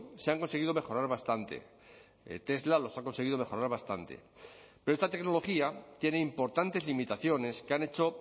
se han conseguido mejorar bastante tesla los ha conseguido mejorar bastante pero esta tecnología tiene importantes limitaciones que han hecho